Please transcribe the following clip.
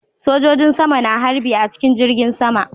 Sojojin sama na harbi a cikin jirgin sama